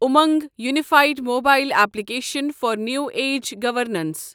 Umang unified mobile application for new age گورنَنسِ